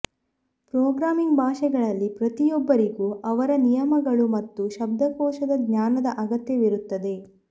programming ಭಾಷೆಗಳಲ್ಲಿ ಪ್ರತಿಯೊಬ್ಬರಿಗೂ ಅವರ ನಿಯಮಗಳು ಮತ್ತು ಶಬ್ದಕೋಶದ ಜ್ಞಾನದ ಅಗತ್ಯವಿರುತ್ತದೆ